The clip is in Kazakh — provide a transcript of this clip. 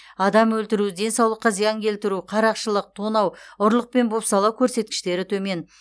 адам өлтіру денсаулыққа зиян келтіру қарақшылық тонау ұрлық пен бопсалау көрсеткіштері төмен